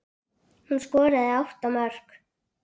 Hún skoraði átta mörk.